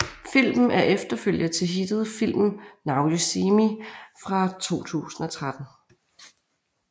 Filmen er efterfølger til hittet filmen Now You See Me fra 2013